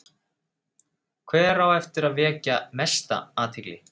Hver á eftir að vekja mesta athygli?